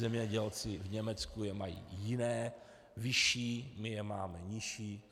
Zemědělci v Německu je mají jiné, vyšší, my je máme nižší.